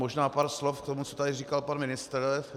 Řeknu pár slovo k tomu, co tady říkal pan ministr.